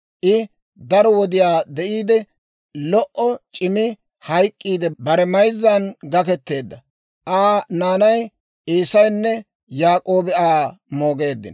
I daro wodiyaa de'iide, lo"o c'imi hayk'k'iidde bare mayzzan gaketeedda. Aa naanay Eesaynne Yaak'oobi Aa moogeeddino.